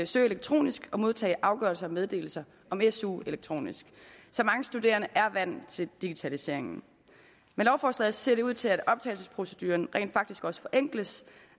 søge elektronisk og modtage afgørelser og meddelelser om su elektronisk så mange studerende er vant til digitalisering med lovforslaget ser det ud til at optagelsesproceduren rent faktisk også forenkles